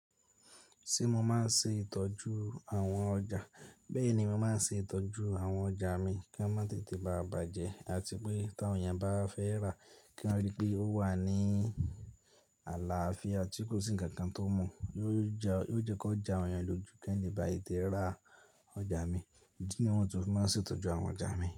Ṣé mo máa ń ṣe ìtọ́jú àwọn ọjà? Bẹ́ẹ̀ ni mo máa ń ṣe ìtọ́jú àwọn ọjà mi kí wọ́n má tètè báa bàjẹ́ àti pé tí àwọn èèyàn bá fẹ́ rà, kí wọ́n ríi pé ó wà ní àlàáfíà tí kò sí ǹkan kan tó mu. Yoo jẹ kó jo awon èèyàn lójú kan le ba tete rà ọjà mi. Ídí ni wọ́n to n fi máa ń ṣe ìtọ́jú àwọn ọjà mi.